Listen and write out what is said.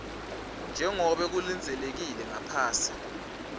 njengobe kulindzelekile ngaphasi